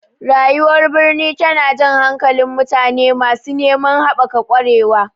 Rayuwar birni tana jan hankalin mutane masu neman haɓaka ƙwarewa.